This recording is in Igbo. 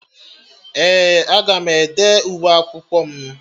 Ee, aga m ede uwe akwụkwọ m